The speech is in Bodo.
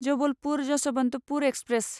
जबलपुर यशवन्तपुर एक्सप्रेस